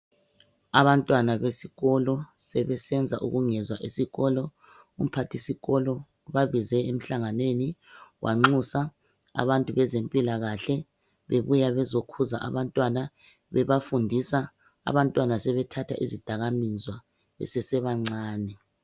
Abantwana besikolo sebesenza ukungezwa esikolo umphathisuko ubabize emhlanganweni wanxusa abezempilakahle bebuya bezekhuza abantwana bebafundisa abantwana sebethanda izidakamizwa besebancane.